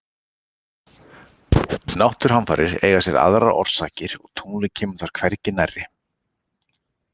Náttúruhamfarir eiga sér aðrar orsakir og tunglið kemur þar hvergi nærri.